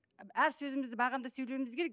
әр сөзімізді бағамдап сөйлеуіміз керек